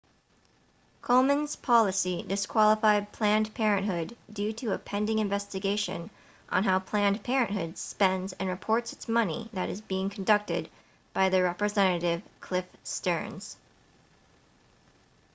komen's policy disqualified planned parenthood due to a pending investigation on how planned parenthood spends and reports its money that is being conducted by representative cliff stearns